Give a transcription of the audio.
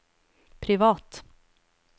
privat